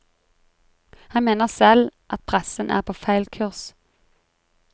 Han mener selv at pressen er på feil kurs.